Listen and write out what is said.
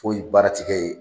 Foyi baara ti kɛ ye.